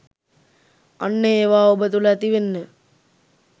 අන්න ඒවා ඔබ තුළ ඇතිවෙන්න